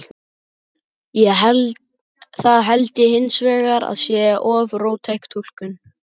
Það held ég hins vegar að sé of róttæk túlkun.